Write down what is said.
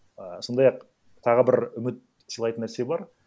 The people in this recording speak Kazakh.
ііі сондай ақ тағы бір үміт сыйлайтын нәрсе бар